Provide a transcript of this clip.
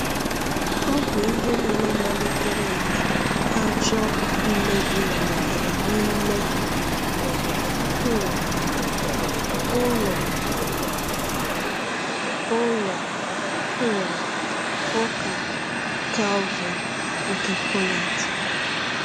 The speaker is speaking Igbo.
Ọ bụ ihe nile malitere mgbe ajọ mmebi malitere n’ime um ụlọ ụlọ um ụka Calvin nke Poland.